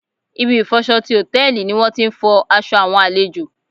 Ibi ìfọ'ṣọ ti Hòtẹ́lìì ni wón ti ń fọ aṣọ àwọn àlejò.